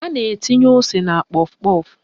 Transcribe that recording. A na-etinye ose na kpọf kpọf